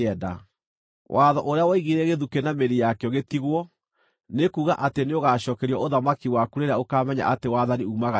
Watho ũrĩa woigire gĩthukĩ na mĩri yakĩo gĩtigwo, nĩ kuuga atĩ nĩũgacookerio ũthamaki waku rĩrĩa ũkaamenya atĩ wathani uumaga Igũrũ.